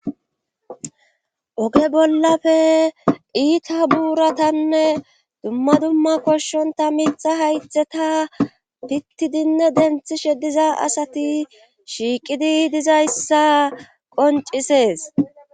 Oge bollafe iita buuratanne dumma dumma koshshonta minxa haytheta tittidinne denthishediza asati shiiqidi dizayssa qoncisees.